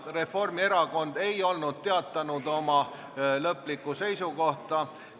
Reformierakond ei olnud teatanud oma lõplikku seisukohta.